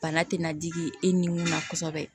Bana tɛna digi e ni mun na kosɛbɛ